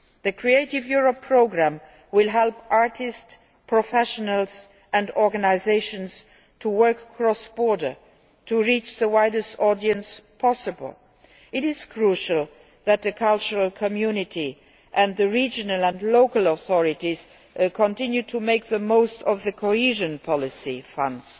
The Creative Europe programme will help artists, professionals and organisations to work cross border to reach the widest audience possible. It is crucial that the cultural community and the regional and local authorities continue to make the most of the cohesion policy funds.